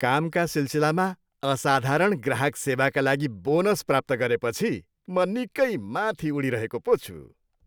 कामका सिलसिलामा असाधारण ग्राहक सेवाका लागि बोनस प्राप्त गरेपछि म निकै माथि उडिरहेको पो छु।